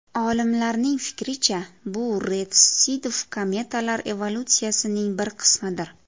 Olimlarning fikricha, bu retsidiv kometalar evolyutsiyasining bir qismidir.